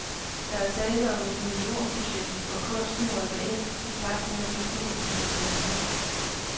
Der er tale om et millionprojekt, hvor kunsten rykker ind, i takt med at bygningerne bliver sat i stand.